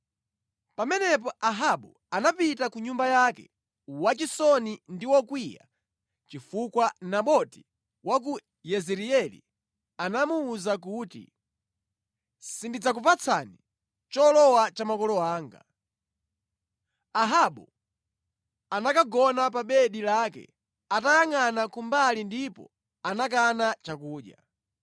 Pamenepo Ahabu anapita ku nyumba yake, wachisoni ndi wokwiya chifukwa Naboti wa ku Yezireeli anamuwuza kuti, “Sindidzakupatsani cholowa cha makolo anga.” Ahabu anakagona pa bedi lake atayangʼana kumbali ndipo anakana chakudya.